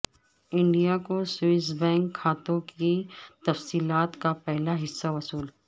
India کو Swiss bank کھاتوں کی تفصیلات کا پہلا حصہ وصول